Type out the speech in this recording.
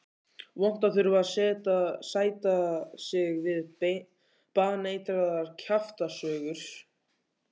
Vont að þurfa að sætta sig við baneitraðar kjaftasögur.